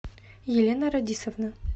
елена радисовна